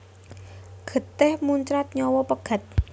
Getih muncrat nyawa pegat